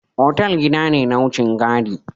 Otal gida ne na wucin gadi.